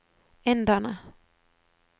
inderne